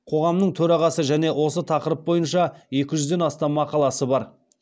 қоғамының төрағасы және осы тақырып бойынша екі жүзден астам мақаласы бар